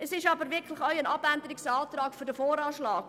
Es ist aber wirklich auch ein Abänderungsantrag für den VA.